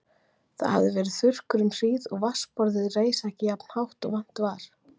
Það hafði verið þurrkur um hríð og vatnsborðið reis ekki jafnt hátt og vant var.